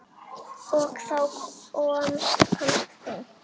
Og þá komst þú.